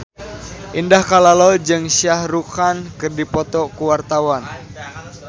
Indah Kalalo jeung Shah Rukh Khan keur dipoto ku wartawan